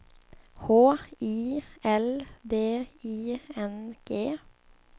H I L D I N G